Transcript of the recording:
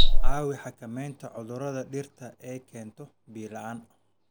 Caawi xakameynta cudurrada dhirta ay keento biyo la'aan.